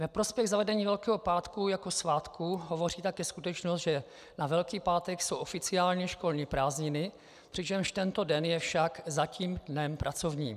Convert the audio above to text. Ve prospěch zavedení Velkého pátku jako svátku hovoří také skutečnost, že na Velký pátek jsou oficiálně školní prázdniny, přičemž tento den je však zatím dnem pracovním.